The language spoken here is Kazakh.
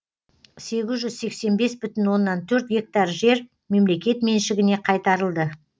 сегіз жүз сексен бес бүтін оннан төрт гектар жер мемлекет меншігіне қайтарылды